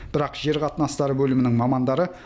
бірақ жер қатынастары бөлімінің мамандары